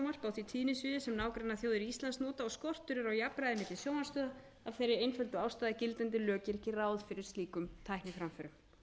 því tíðnisviði sem nágrannaþjóðir íslands njóta og skortur er á jafnræði milli sjónvarpsstöðva af þeirri einföldu ástæðu að gildandi lög gera ekki ráð fyrir slíkum tækniframförum